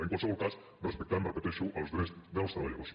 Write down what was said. en qualsevol cas respectant ho repeteixo els drets dels treballadors